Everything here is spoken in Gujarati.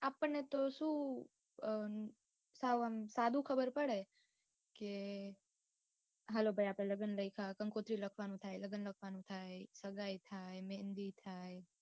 આપણને તો શું સાદું ખબર પડે કે હાલો ભાઈ આપડે લગ્ન રાખ્યાં કંકોત્રી લખવાનું થાય લગ્ન લખવાનું થાય સગાઇ થાય મેહંદી થાય